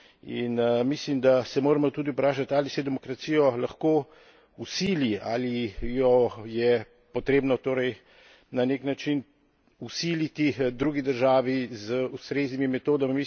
In mislim, da se moramo tudi vprašati, ali se demokracijo lahko vsili, ali jo je potrebno torej na nek način vsiliti drugi državi z ustreznimi metodami.